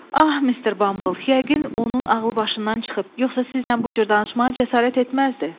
Ah mister Bamble yəqin onun ağlı başından çıxıb, yoxsa sizinlə bu cür danışmağa cəsarət etməzdi.